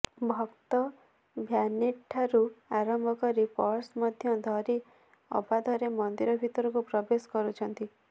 ଭକ୍ତ ଭ୍ୟାନିଟଠାରୁ ଆରମ୍ଭ କରି ପର୍ସ ମଧ୍ୟ ଧରି ଅବାଧରେ ମନ୍ଦିର ଭିତରକୁ ପ୍ରବେଶ କରୁଛନ୍ତି